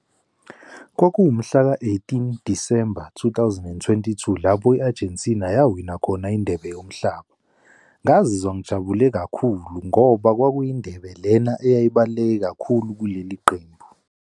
Kwakuwu mhlaka-eighteen December two thousand and twenty two, lapho i-Argentina yawina khona indebe yomhlaba. Ngazizwa ngijabule kakhulu ngoba kwakuyindebe lena eyayibaluleke kakhulu kuleli qembu.